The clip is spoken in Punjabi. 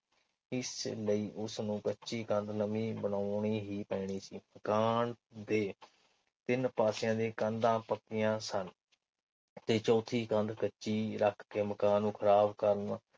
ਇਸ ਲਈ ਉਸਨੂੰ ਕੱਚੀ ਕੰਧ ਨਵੀ ਬਣਾਉਣੀ ਹੀ ਪੈਣੀ ਸੀ। ਤੇ ਤਿੰਨ ਪਾਸਿਆਂ ਦੀਆਂ ਕੰਧਾਂ ਪੱਕੀਆਂ ਸਨ। ਤੇ ਚੌਥੀ ਕੰਧ ਕੱਚੀ ਰੱਖ ਕੇ ਮਕਾਨ ਨੂੰ ਖਰਾਬ ਕਰਨ